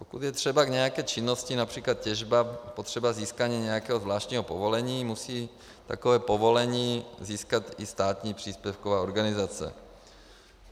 Pokud je třeba k nějaké činnosti, například těžba, potřeba získání nějakého zvláštního povolení, musí takové povolení získat i státní příspěvková organizace.